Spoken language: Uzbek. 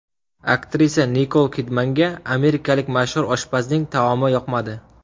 Aktrisa Nikol Kidmanga amerikalik mashhur oshpazning taomi yoqmadi .